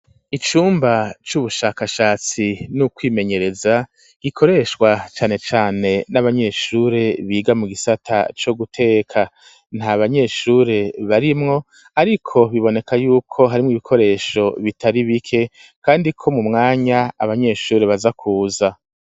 Icumba c'ubushakashatsi n'ukwimenyereza gikoreshwa cane cane n'abanyeshure biga mu gisata co guteka ntabanyeshure barimwo ariko biboneka yuko harimwo ibikoresho bitari bike kandi ko mu mwanya abanyeshuri baza kuza.